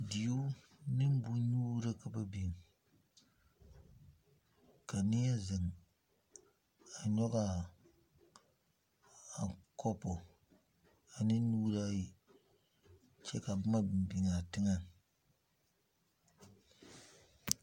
Deuo ne boŋnyuuri ka ba biŋ ka neɛ zeŋ a nyɔge a kopo ane nuuri ayi kyɛ ka boma biŋ a teŋɛŋ.